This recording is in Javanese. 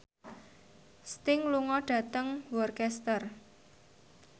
Sting lunga dhateng Worcester